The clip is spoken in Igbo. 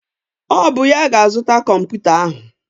Ọ bụ ya ga-azụta kọmputa ahụ?